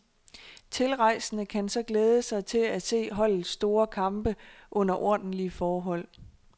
Tilrejsende kan så glæde sig til at se holdets store kampe under ordentlige forhold.